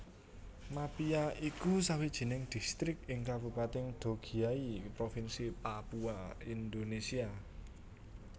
Mapia iku sawijining distrik ing Kabupatèn Dogiyai Provinsi Papua Indonesia